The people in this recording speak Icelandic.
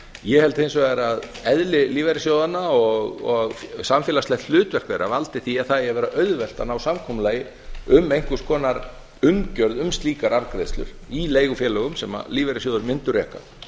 ég held hins vegar að eðli lífeyrissjóðanna og samfélagslegt hlutverk þeirra valdi því að það eigi að vera auðvelt að ná samkomulagi um einhvers konar umgjörð um slíkar arðgreiðslur í leigufélögum sem lífeyrissjóðir mundu reka